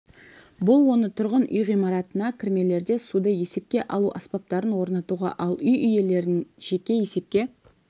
бұл оны тұрғын үй ғимараттарына кірмелерде суды есепке алу аспаптарын орнатуға ал үй иелерін жеке есепке